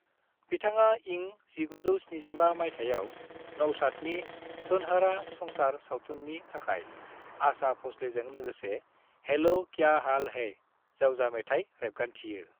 "बिथाङा इं 1975 माइथायाव नउशादनि सुनहरा संसार सावथुननि थाखाय आशा भ'सलेजों लोगोसे "हैलो क्या हाल है" जावजा मेथाइ रेबगान्थियो।"